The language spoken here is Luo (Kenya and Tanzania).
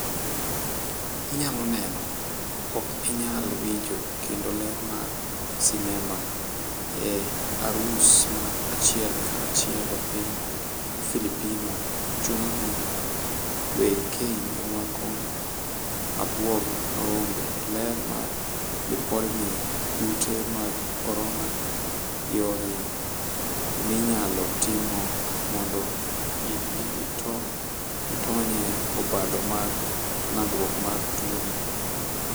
Inyalo neno: Ok inyal winjo kendo ler mar sinema, e arus mar achiel ka chiel e piny Filipino chuno ni weg keny rwako abwog rombe. Ler mar lipodni, kute mag korona: Yore minyalo timo mondo itonye obadho mar landruok mar tuoni.